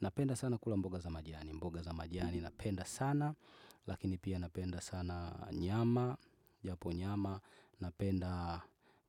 Napenda sana kula mboga za majani, mboga za majani napenda sana, lakini pia napenda sana nyama, japo nyama, napenda